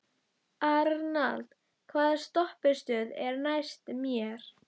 Arnald, hvaða stoppistöð er næst mér?